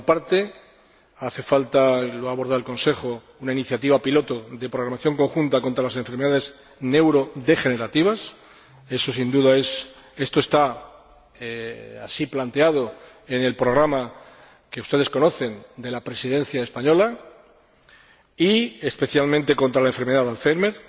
Por una parte, hace falta, y lo ha abordado el Consejo, una iniciativa piloto de programación conjunta contra las enfermedades neurodegenerativas —esto está planteado así en el programa, que ustedes conocen, de la Presidencia española— y, especialmente, contra la enfermedad de Alzheimer.